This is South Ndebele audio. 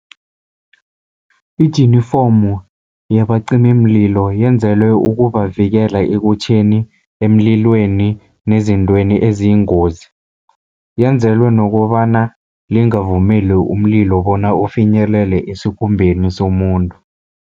Ijinifomu yabacimimlilo yenzelwe ukubavikela ekutjheni emlilweni nezintweni eziyingozi. Yenzelwe nokobana lingavumeli umlilo bona ufinyelele esikhumbeni somuntu.